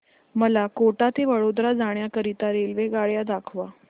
मला कोटा ते वडोदरा जाण्या करीता रेल्वेगाड्या दाखवा